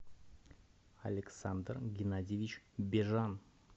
александр геннадьевич бежан